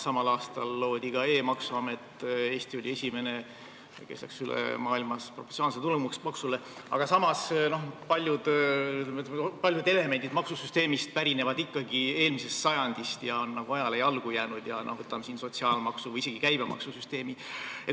Samal aastal loodi ka e-maksuamet, Eesti oli esimene, kes läks maailmas üle proportsionaalsele tulumaksule, aga samas pärinevad paljud maksusüsteemi elemendid ikkagi eelmisest sajandist ja on nagu ajale jalgu jäänud, võtame näiteks sotsiaalmaksu või isegi käibemaksusüsteemi.